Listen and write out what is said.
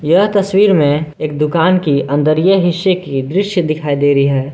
यह तस्वीर में एक दुकान की अंदरये हिस्से की दृश्य दिखाई दे रही है।